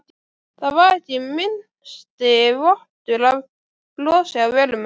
Það var ekki minnsti vottur af brosi á vörum hennar.